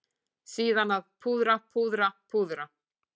Síðan að púðra, púðra, púðra.